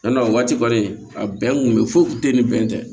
Yann'a waati kɔni a bɛn kun bɛ foyi kun tɛ ni bɛn tɛ